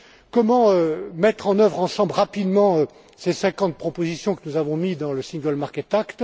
Comment mettre en œuvre ensemble rapidement ces 50 propositions que nous avons reprises dans le Single Market